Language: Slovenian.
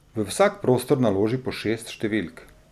V vsak prostor naloži po šest številk.